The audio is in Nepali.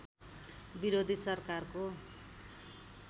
विरोधी सरकारको